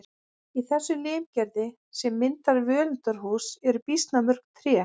Í þessu limgerði sem myndar völundarhús eru býsna mörg tré.